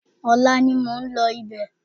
Ọ̀la ni mò ń lọ ibẹ̀